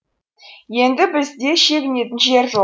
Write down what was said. енді бізде шегінетін жер жоқ